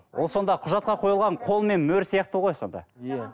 ол сонда құжатқа қойылған қолмен мөр сияқты ғой сонда иә